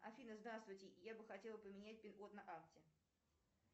афина здравствуйте я бы хотела поменять пин код на карте